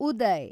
Uday